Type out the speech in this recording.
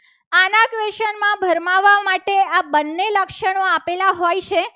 આ બંને લક્ષણો આપેલા હોય છે.